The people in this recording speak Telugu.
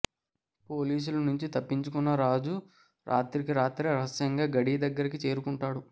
పోలీసుల నుంచి తప్పించున్న రాజు రాత్రికి రాత్రే రహస్యంగా గడీ దగ్గరికి చేరుకుంటాడు